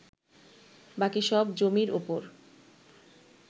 বাকি সব জমির ওপর